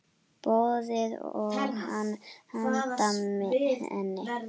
Boði: Og þú handa henni?